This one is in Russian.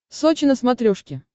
сочи на смотрешке